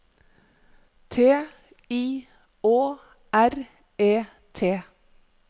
T I Å R E T